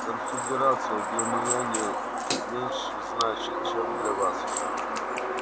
конфедерация для меня не меньше значит чем для вас